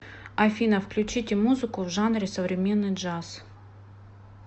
афина включите музыку в жанре современный джаз